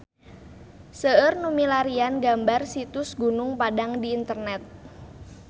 Seueur nu milarian gambar Situs Gunung Padang di internet